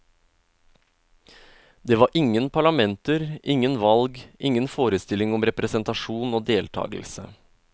Det var ingen parlamenter, ingen valg, ingen forestilling om representasjon og deltagelse.